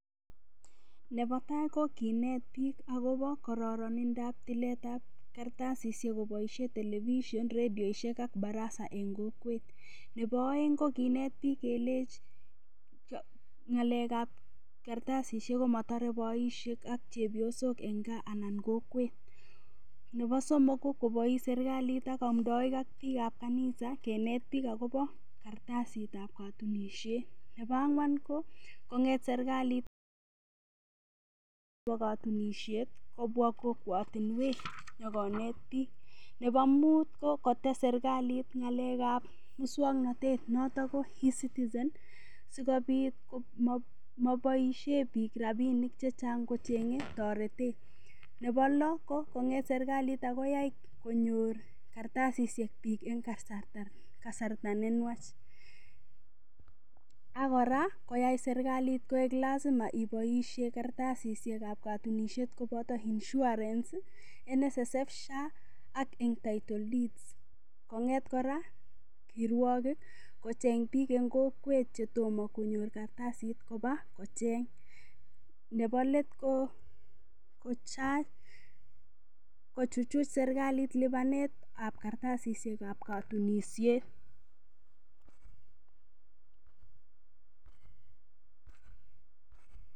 Nebo tai ko kinet biik agobo kororonindab tilet ab kartasishek koboishen television , redioishek ak baraza en kokwet. Nebo oeng ko kinet biik kelechi ng'alek ab kartasishek komotore boishek ak chepyosok en gaa anan kokwet. Nebo somok ko kobois serkalit ak amdoik ak biik ab kanisa kenet biik agobo kartasit ab katunisiet. Nebo ang'wan ko kong'et serkalit nebo kotunisiet kobwa kokwotinwek nyokonet biik. Nebo mut ko kotes serkalit ng'alek ab muswoknatet notn ko E-citizen sikobit komoboishen biik rabinik che chang kocheng'e toretet. Nebo lo, ko kong'eet serkalit ak koyai konyor kartasishek biik en kasarta ne nwach. Ak kora koyai serkalit koik lazima iboishen kartasishek ab katunisiet koboto insurance ,NSSF, SHA ak en title deeds kong'et kora kirwogik kocheng biik en kokwet che tomo konyor kartasit koba kocheng. Nebo let ko kochuchuch serkalit lipanet ab kartasishek ab kotunisiet.